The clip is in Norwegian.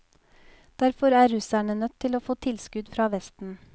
Derfor er russerne nødt til å få tilskudd fra vesten.